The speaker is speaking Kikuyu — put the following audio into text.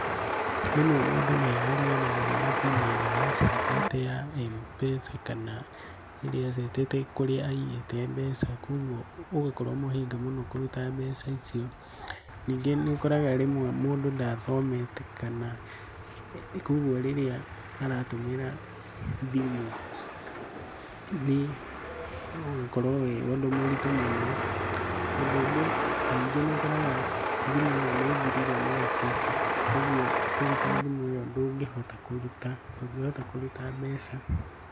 Rĩmwe mũndũ nĩariganagĩrwo nĩ pini ĩria acetete ya M-pesa kana ĩrĩa acetete kũrĩa aigĩte mbeca kũguo ũgakorwo mũhĩnga mũno kũruta mbeca icio. Ningĩ nĩũkoraga rĩmwe mũndũ ndathomete kana, kũguo rĩrĩa aratũmĩra thimũ, nĩ ũgakorwo wĩ ũndũ mũritu mũno. Ũndũ ũngĩ ningĩ nĩũkoraga thimũ ĩyo nĩ ĩthirire mwaki, ũguo kũruta thimũ ĩyo ndũngĩhota kũruta ndũngĩhota kũruta mbeca.